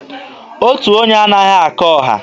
Otu onye anaghị aka ọha.